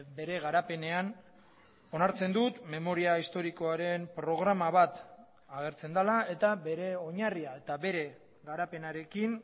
bere garapenean onartzen dut memoria historikoaren programa bat agertzen dela eta bere oinarria eta bere garapenarekin